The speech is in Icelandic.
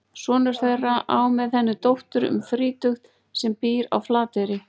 Sonur þeirra á með henni dóttur um þrítugt sem býr á Flateyri.